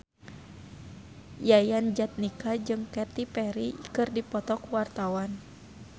Yayan Jatnika jeung Katy Perry keur dipoto ku wartawan